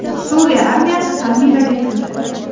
Suriya armiyasi Palmiraga kirdi .